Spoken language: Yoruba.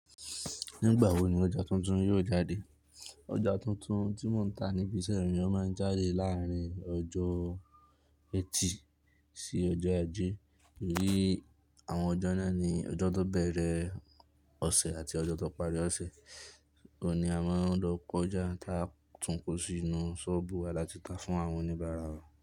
Nígbà wo ni ọjà tuntun yóò jáde? Ọjà tuntun tí mò ń tà níbi iṣẹ́ mí máa ń jáde láàrin ọjọ́ ẹtì sí ọjọ́ ajé. Torí àwọn ọjọ́ náà ni ọjọ́ tó bẹ̀rẹ̀ ọ̀sẹ̀ àti ọjọ́ tó pari ọ̀sẹ̀. Ó ni a máa ń lọ kọjá ta tún kó sí inú ṣọ́ọ́bù wa láti ta fún àwọn oníbàárà wa.